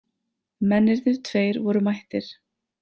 Mennirnir tveir voru mættir.